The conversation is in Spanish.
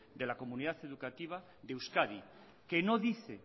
de la comunidad educativa de euskadi que no dice